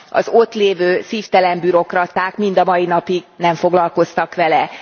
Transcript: Az ott lévő szívtelen bürokraták mind a mai napig nem foglalkoztak vele.